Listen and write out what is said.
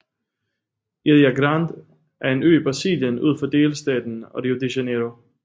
Ilha Grande er en ø i Brasilien ud for delstaten Rio de Janeiro